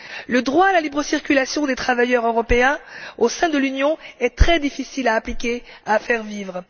Le droit à la libre circulation des travailleurs européens au sein de l'Union est très difficile à appliquer et à faire vivre.